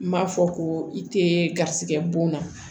N m'a fɔ ko i tɛ garisigɛ bon na